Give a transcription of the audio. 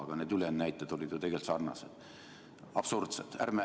Aga need ülejäänud näited olid ju tegelikult sarnased, absurdsed.